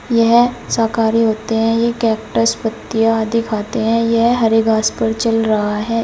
यह शाकाहारी होते हैं ये कैक्टस पत्तियां आदि खाते है यह हरे घास पर चल रहा है।